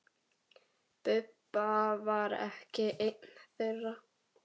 Bubba var ekki einn þeirra.